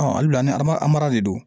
halibi an ba an mara de do